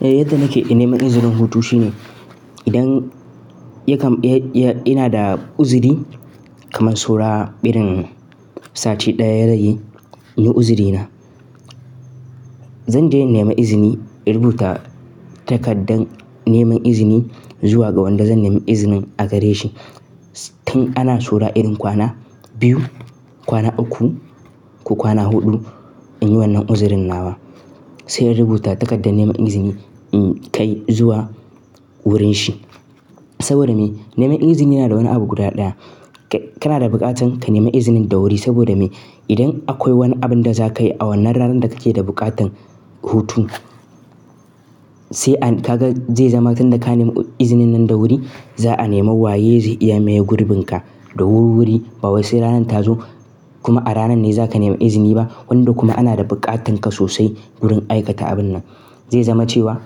Yadda nake nema izinin hutu shine idan ina da uzuri kaman saura irin sati ɗaya ya rage, in yi uzurina. Zan je in nema izini, in rubuta takardar neman izini zuwa ga wanda zan nema izinin a gare shi. Tun ana saura irin kwana biyu, kwana uku ko kwana huɗu in yi wannan uzurina nawa. Sai in rubuta takardar neman izini in kai zuwa wurin shi. Saboda me? Neman izini yana da wani abu guda ɗaya. Kana da buƙatan ka neme izinin da wuri saboda me? Idan akwai wani abun da za ka yi a wannan ranar da kake da buƙatan hutu, ka ga zai zama tun da ka nema izinin nan da wuri, za a neme waye zai iya maye gurbinka da wurwuri. Ba wai sai ranar ta zo kuma a ranan ne za ka nema izini ba, wanda kuma ana da buƙatar ka sosai wurin aikata abun nan. Zai zama cewa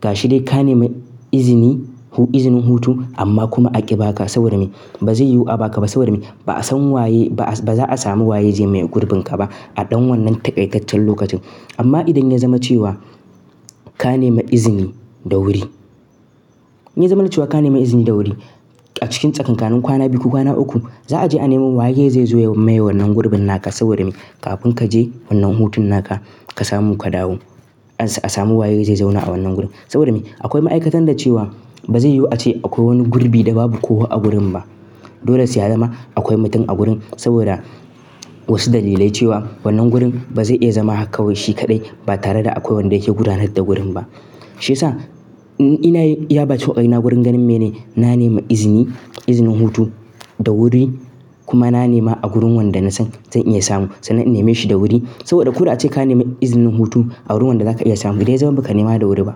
gashi dai ka nema izini, izinin hutu amma kuma a ƙi baka saboda me? Ba zai yiwu a baka ba saboda me? Ba'a san waye, ba za a samu waye zai maye gurbin ka ba a ɗan wannan taƙaitaccen lokacin. Amma idan ya zama cewa ka nema izini da wuri, in ya zama na cewa ka nema izini da wuri a cikin tsakankanin kwana biyu ko kwana uku, za a je a nema waye zai zo ya maye wannan gurbin naka saboda me? Kafin ka je wannan hutun naka ka samu ka dawo, an samu waye zai zauna a wannan gurin. Saboda me? Akwai ma'aikatan da cewa ba zai yiwu a ce akwai wani gurbi da babu kowa a gurin ba. Dole sai a zama akwai mutum a gurin saboda wasu dalilai cewa wannan gurin ba zai iya zama haka kawai shi kaɗai ba tare da akwai wanda yake gudanar da gurin ba. Shi yasa ni ina yin iya bakin kokarina gurin ganin na nema izini, izinin hutu da wuri kuma na nema a gurin wanda na san zan iya samu sannan na neme shi da wuri. Saboda ko da a ce ka nema izinin hutu a wurin wanda za ka iya samu idan ya zama ba ka nema da wuri ba.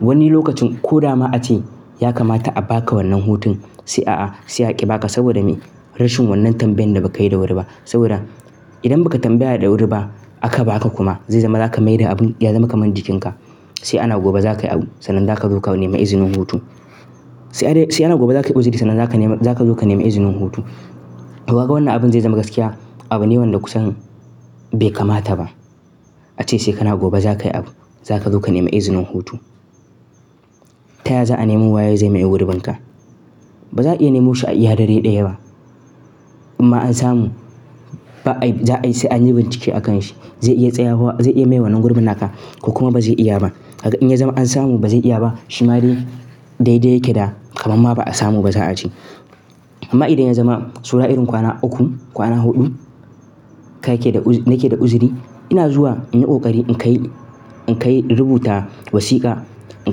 Wani lokacin ko dama a ce ya kamata a baka wannan hutun sai a'a, sai a ƙi baka saboda me? Rashin wannan tambayan da ba ka yi da wuri ba. Saboda idan ba ka tambaya da wuri ba aka ba ka kuma zai zama za ka maida abun ya zama kaman jikinka. Sai ana gobe za ka yi abu sannan za ka zo ka nema izinin hutu. Sai ana gobe za ka yi uzuri sannan za ka nema, za ka zo ka nema izinin hutu. To kaga wannan abun zai zama gaskiya. Abu ne wanda kusan bai kamata ba. A ce sai kana gobe za ka yi abu, za ka zo ka nema izinin hutu. Ta yaya za a nemo waye zai maye gurbin ka? Ba za a iya nemo shi a iya dare ɗaya ba. In ma an samu dole, sai an yi bincike a kan shi. Zai iya tsayawa, zai iya maye wannan gurbin naka ko kuma ba zai iya ba. In ya zama an samu ba zai iya ba shi ma dai dai dai yake da kamamma ba a samu ba za a ce. Amma idan ya zama saura irin kwana uku, kwana huɗu ka yake da, nake da uzuri ina zuwa inyi ƙoƙari in kai, in kai in rubuta wasiƙa in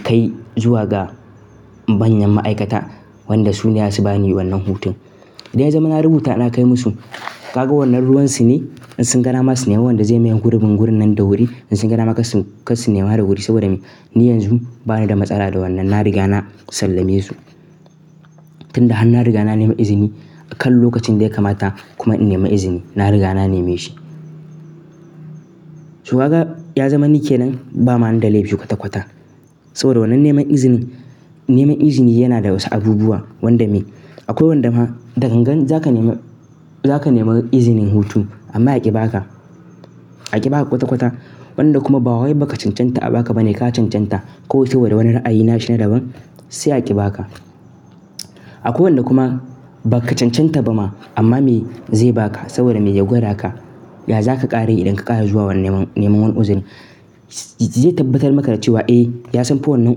kai zuwa ga manyan ma'aikata wanda su ne za su ba ni wannan hutun. Idan ya zama na rubuta na kai musu, kaga wannan ruwansu ne in sun ga dama su neme wanda zai maye gurbin gurin nan da wuri in sun ga dama karsu nema da wuri saboda me? Ni yanzu bani da matsala da wannan. Na riga na sallame su. Tun da har na riga na nema izini a kan lokacin da ya kamata kuma in nema izini na riga na neme shi. To kaka ya zama ni ke nan bani da ma laifi kwata kwata saboda wannan neman izini. Neman izini yana da wasu abubuwa wanda me? Akwai wanda ma da gangan za ka nema, za ka nema izinin hutu amma ya ƙi baka. A ƙi baka kwata kwata wanda kuma ba waye ba ka cancanta a baka ba ne ka cancanta kawai saboda wani wani ra'ayi na shi na daban sai a ƙi baka. Akwai wanda kuma ba ka cancanta ba ma amma me zai baka saboda me ya gwada ka. Ya za ka ƙara yi idan ka ƙara zuwa wani neman wani uzurin? Zai tabbatar maka da cewa eh ya san fa wannan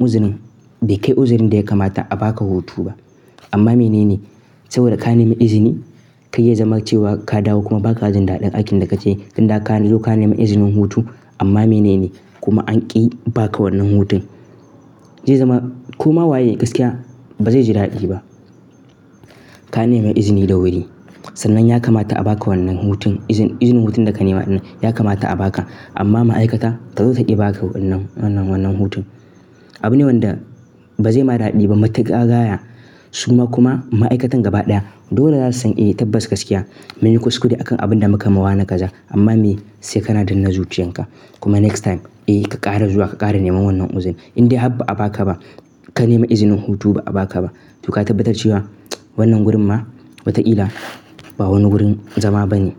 uzurin bai kai uzurin da ya kamata a baka hutu ba. Amma mene ne saboda ka nema izini kai ya zama cewa ka dawo kuma ba ka jin daɗin aikin da kake yi tun da ka zo ka nema izinin hutu amma mene ne kuma an ƙi baka wannan hutun. Zai zama ko ma waye gaskiya ba zai ji daɗi ba. Ka nema izini da wuri sannan ya kamata a baka wannan hutun. Izinin hutun da ka nema ɗin ya kamata a baka amma ma'aikata ta zo ta ƙi baka wannan, wannan hutun. Abu ne wanda ba zai ma daɗi ba matuka gaya su ma kuma ma'aikatan gaba ɗaya dole za su san eh tabbas gaskiya mun yi kuskure a kan abin da muka ma wane kaza amma me sai kana danne zuciyarka kuma next time eh ka ƙara zuwa ka ƙara neman wannan uzuri. In dai har ba'a baka ba, ka nema izinin hutu ba a baka ba, to ka tabbatar cewa wannan gurin ma watakila ba wani gurin zama bane.